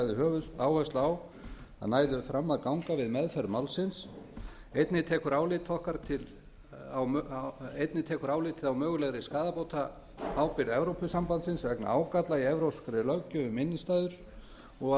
höfuðáherslu á að næðu fram að ganga við meðferð málsins einnig tekur álitið á mögulegri skaðabótaábyrgð evrópusambandsins vegna ágalla í evrópskri löggjöf um innstæðutryggingar og